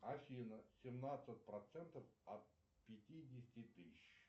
афина семнадцать процентов от пятидесяти тыщ